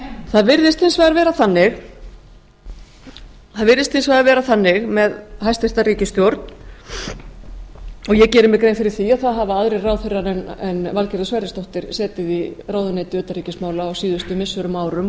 það virðist hins vegar vera þannig með hæstvirt ríkisstjórn og ég geri mér grein fyrir því að það hafa aðrir ráðherrar en valgerður sverrisdóttir setið í ráðuneyti utanríkismála á síðustu missirum og árum